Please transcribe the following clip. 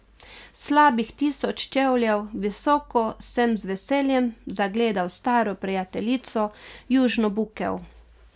Slabih tisoč čevljev visoko sem z veseljem zagledal staro prijateljico, južno bukev.